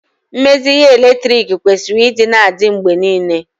mmezi ihe eletriki kwesịrị ịdị na-adị mgbe niile